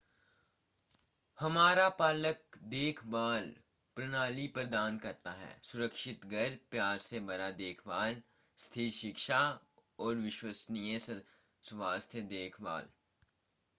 हमारा पालक देखभाल प्रणाली प्रदान करता है सुरक्षित घर प्यार से भरा देखभाल स्थिर शिक्षा और विश्वसनीय स्वास्थ्य देखभाल